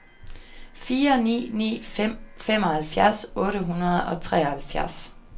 fire ni ni fem femoghalvfjerds otte hundrede og treoghalvfjerds